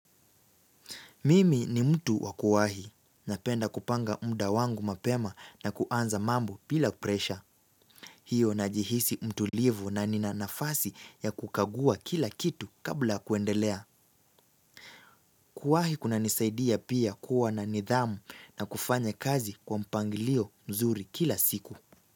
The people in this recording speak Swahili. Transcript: Mimi ni mtu wakuwahi. Napenda kupanga muda wangu mapema na kuanza mambo bila pressure. Hio najihisi mtulivu na nina nafasi ya kukagua kila kitu kabla kuendelea. Kuwahi kuna nisaidia pia kuwa na nidhamu na kufanya kazi kwa mpangilio nzuri kila siku.